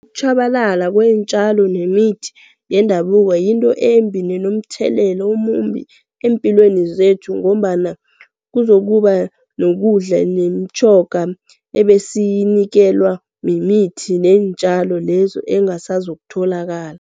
Ukutjhabalala kweentjalo nemithi yendabuko yinto embi nenomthelela omumbi eempilweni zethu ngombana kuzokuba nokudla nemitjhaga ebesiyinikelwa mimithi neentjalo lezo engasazokutholakala.